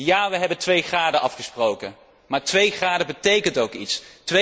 Ja, we hebben 2 graden afgesproken, maar 2 graden betekenen ook iets.